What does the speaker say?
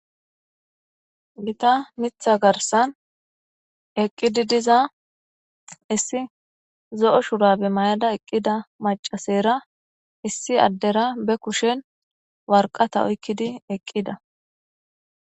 Gitta mitha garsan eqqidi diza issi zo'o shura be mayada eqqida macasera issi addera be kushen warqata oykkidi eqqida